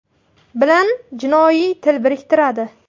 bilan jinoiy til biriktiradi.